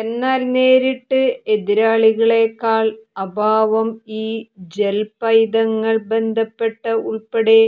എന്നാൽ നേരിട്ട് എതിരാളികളെക്കാൾ അഭാവം ഈ ജെൽ പൈതങ്ങൾ ബന്ധപ്പെട്ട ഉൾപ്പെടെ